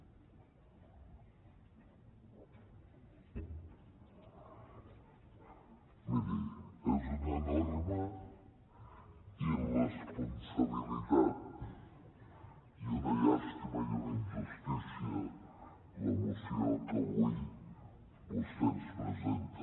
miri és una enorme irresponsabilitat i una llàstima i una injustícia la moció que avui vostè ens presenta